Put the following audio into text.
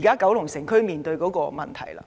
時九龍城區面對的問題。